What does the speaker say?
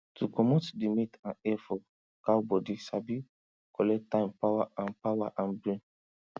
to comot di meat and hair for cow bodi sabi collect time power and power and brain